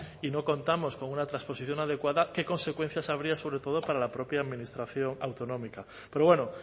y no contamos con una transposición adecuada qué consecuencias habría sobre todo para la propia administración autonómica pero bueno